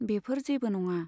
बेफोर जेबो नङा।